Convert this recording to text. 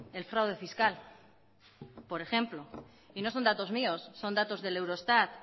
el fraude fiscal por ejemplo y no son datos míos son datos del eurostat